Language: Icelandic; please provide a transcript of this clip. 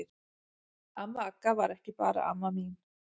Amma Agga var ekki bara amma mín.